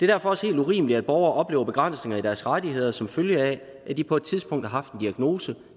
derfor også helt urimeligt at borgere oplever begrænsninger i deres rettigheder som følge af at de på et tidspunkt har haft en diagnose